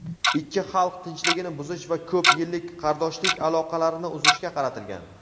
ikki xalq tinchligini buzish va ko‘p yillik qardoshlik aloqalarini uzishga qaratilgan.